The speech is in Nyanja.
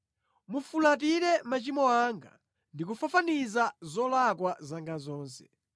Mufulatire machimo anga ndi kufafaniza zolakwa zanga zonse.